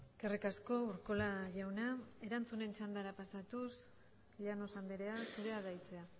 eskerrik asko urkola jauna erantzunen txandara pasatuz llanos andrea zurea da hitza